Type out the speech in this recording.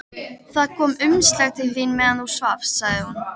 Það kom umslag til þín meðan þú svafst, sagði hún.